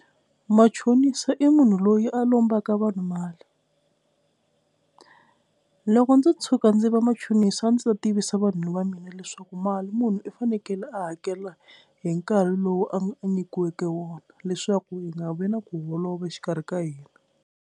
Machonisa i munhu loyi a lombaka vanhu mali, loko ndzo tshuka ndzi va machonisi a ndzi ta tivisa vanhu va mina leswaku mali munhu i fanekele a hakela hi nkarhi lowu a nyikiweke wona leswaku hi nga vi na ku holova exikarhi ka hina.